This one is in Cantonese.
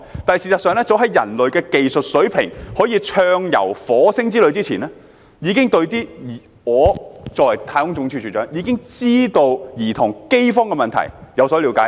'但事實上，早在人類的技術水平可以展開火星之旅之前，我作為太空總署署長，已經對兒童飢荒的問題有所了解。